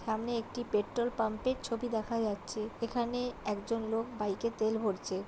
সামনে একটি পেট্রোল পাম্পের ছবি দেখা যাচ্ছে । এখানে একজন লোক বাইকে তেল ভরছে।